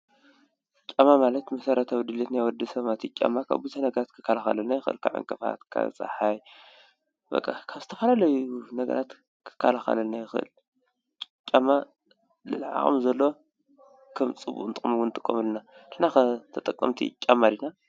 ጫማ ማለት መሰረታዊ ድልየት ናይ ወዲ ሰብ ማለት እዩ፡፡ ጫማ ካብ ነገር ክላኸልና ይኽእል ካብ ዕንቅፋት ካብ ፀሓይ በቃ ካብ ዝተፈላለዩ ነገራት ክከኸለልና ይኽእል:: ጫማ ልዕሊ ዓቕሚ ዘለዎ ንጥቀመሉ ኢና ንሕና ኸ ተጠቀምቲ ጫማ ዲና?